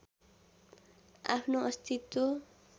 आफ्नो अस्तित्व